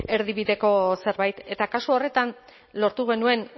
erdibideko zerbait eta kasu horretan lortu genuen